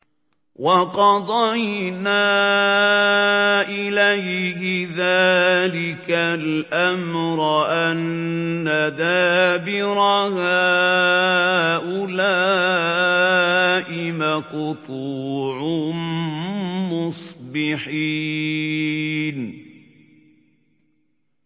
وَقَضَيْنَا إِلَيْهِ ذَٰلِكَ الْأَمْرَ أَنَّ دَابِرَ هَٰؤُلَاءِ مَقْطُوعٌ مُّصْبِحِينَ